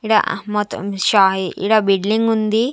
ఈడ ఆ మొత్తం శాయి--ఈడ బిల్డింగ్ ఉంది.